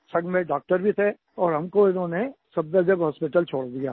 संग में डॉक्टर भी थे और हमको उन्होंने सफदरजंग हॉस्पिटल छोड़ दिया